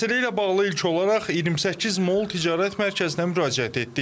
Məsələ ilə bağlı ilkin olaraq 28 Mall Ticarət Mərkəzinə müraciət etdik.